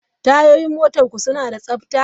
Tayoyin motarku suna da tsabta?